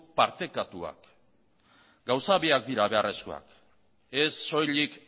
partekatuak gauza biak dira beharrezkoa ez soilik